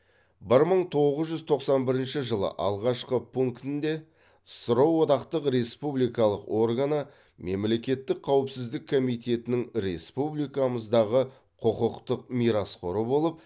бір мың тоғыз жүз тоқсан бірінші жылы алғашқы пунктінде ссро одақтық республикалық органы мемлекеттік қауіпсіздік комитетінің республикамыздағы құқықтық мирасқоры болып